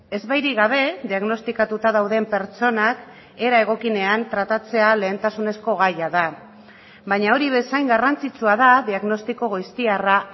ezbairik gabe diagnostikatuta dauden pertsonak era egokienean tratatzea lehentasunezko gaia da baina hori bezain garrantzitsua da diagnostiko goiztiarra